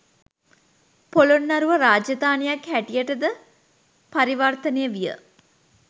පොළොන්නරුව රාජධානියක් හැටියටද පරිවර්තනය විය